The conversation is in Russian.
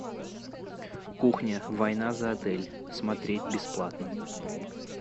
кухня война за отель смотреть бесплатно